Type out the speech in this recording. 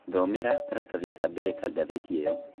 Thomera karatathi ka mbele ka gathīti iyo